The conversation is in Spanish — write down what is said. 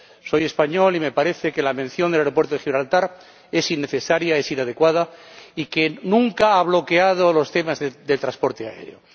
Soy español y me parece que la mención del aeropuerto de Gibraltar es innecesaria e inadecuada y nunca ha bloqueado los temas de transporte aéreo.